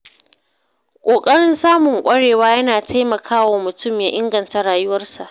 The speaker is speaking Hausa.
Ƙoƙarin samun ƙwarewa yana taimaka wa mutum ya inganta rayuwarsa.